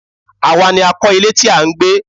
Àwa ni a kọ̀ ilé tí à ń gbé.